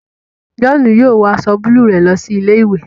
John yóò wọ aṣọ buluu rẹ lọ sí ilé-ìwé